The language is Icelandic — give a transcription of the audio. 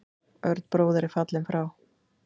Örn bróðir er fallinn frá.